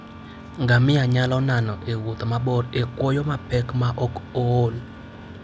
Ngamia nyalo nano e wuoth mabor e kwoyo mapek maok ool.